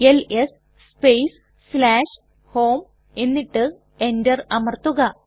LS space home എന്നിട്ട് Enter അമർത്തുക